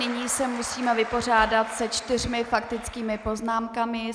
Nyní se musíme vypořádat se čtyřmi faktickými poznámkami.